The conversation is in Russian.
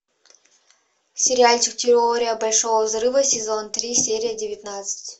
сериальчик теория большого взрыва сезон три серия девятнадцать